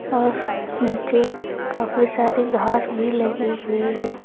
और नीचे काफी सारी घास भी लगी हुई है।